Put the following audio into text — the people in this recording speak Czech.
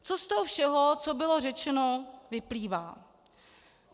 Co z toho všeho, co bylo řečeno, vyplývá?